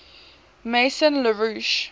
maison la roche